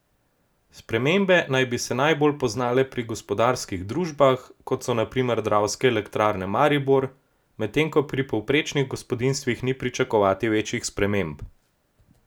Spremembe naj bi se najbolj poznale pri gospodarskih družbah, kot so na primer Dravske elektrarne Maribor, medtem ko pri povprečnih gospodinjstvih ni pričakovati večjih sprememb.